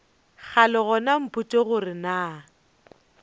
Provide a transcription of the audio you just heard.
kgale gona mpotše gore na